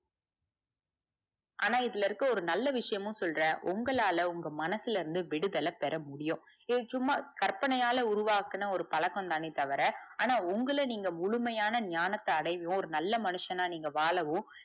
ஆனா இதுல இருக்க ஒரு நல்ல விஷயமும் சொல்ற உங்களால உங்க மனசுல இருந்து விடுதல பெற முடியும் ஏய் சும்மா கர்ப்பனையாள உருவாக்குன ஒரு பழக்கம்தானே தவிர ஆனா உங்கள நீங்க முழுமையான ஞானத்த அடைவோர் நல்ல மனிஷனா நீங்க வாழவோ